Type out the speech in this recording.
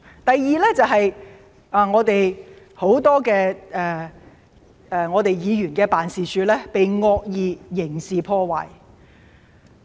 第二點就是很多議員辦事處也被惡意刑事破壞。